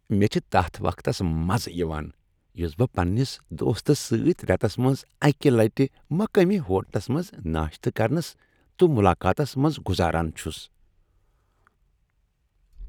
مےٚ چھ تتھ وقتس مزٕ یوان یس بہٕ پنٛنس دوستس سۭتۍ ریتس منٛز اکہ لٹہ مقٲمی ہوٹلس منٛز ناشتہٕ کرنس تہٕ ملاقاتس منٛز گزاران چھس۔